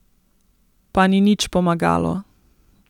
Pa ni nič pomagalo.